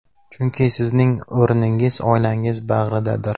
Chunki sizning o‘rningiz oilangiz bag‘ridadir.